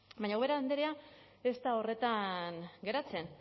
baina ubera andrea ez da horretan geratzen